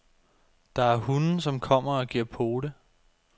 Der er hunde, som kommer og giver pote.